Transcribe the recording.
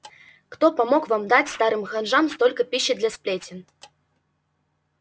кто помог вам дать старым ханжам столько пищи для сплетен